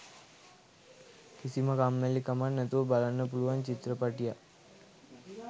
කිසිම කම්මැලිකමක් නැතුව බලන්න පුලුවන් චිත්‍රපටියක්